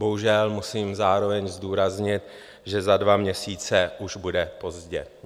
Bohužel musím zároveň zdůraznit, že za dva měsíce už bude pozdě.